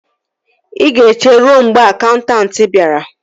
Ị ga-eche ruo mgbe akaụntanti bịara